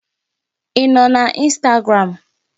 Ị nọ na Instagram?